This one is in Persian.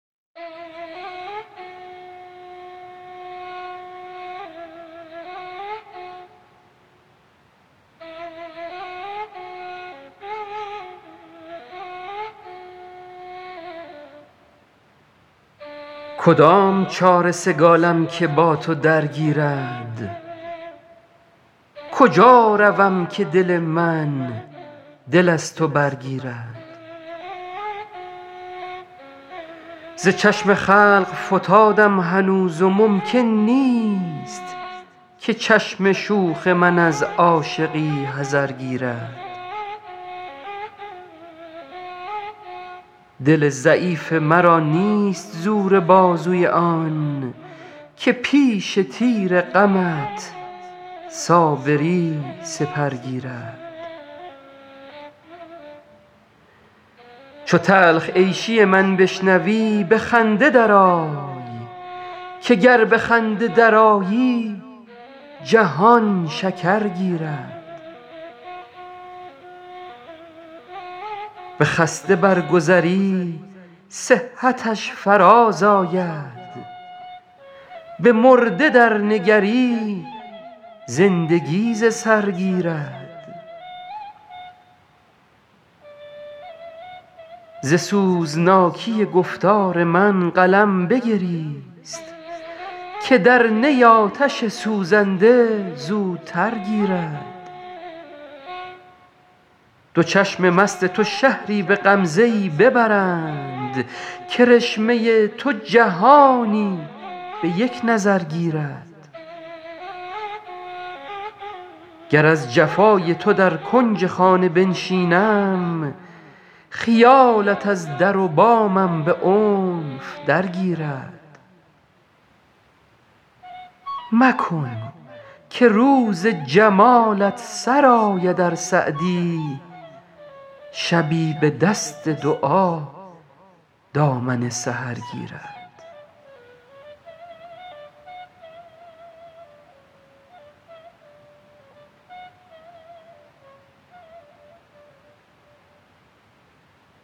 کدام چاره سگالم که با تو درگیرد کجا روم که دل من دل از تو برگیرد ز چشم خلق فتادم هنوز و ممکن نیست که چشم شوخ من از عاشقی حذر گیرد دل ضعیف مرا نیست زور بازوی آن که پیش تیر غمت صابری سپر گیرد چو تلخ عیشی من بشنوی به خنده درآی که گر به خنده درآیی جهان شکر گیرد به خسته برگذری صحتش فرازآید به مرده درنگری زندگی ز سر گیرد ز سوزناکی گفتار من قلم بگریست که در نی آتش سوزنده زودتر گیرد دو چشم مست تو شهری به غمزه ای ببرند کرشمه تو جهانی به یک نظر گیرد گر از جفای تو در کنج خانه بنشینم خیالت از در و بامم به عنف درگیرد مکن که روز جمالت سر آید ار سعدی شبی به دست دعا دامن سحر گیرد